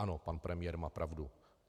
Ano, pan premiér má pravdu.